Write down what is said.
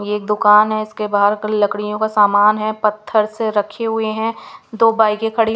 ये एक दुकान है इसके बाहर लकड़ियों का सामान है पत्थर से रखे हुए हैं दो बाइके खड़ी--